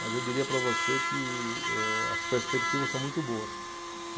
Mas eu diria para você que eh, as perspectivas são muito boas.